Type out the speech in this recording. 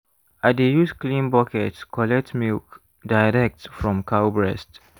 i dey use clean bucket collect milk direct from cow breast.